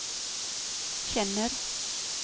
känner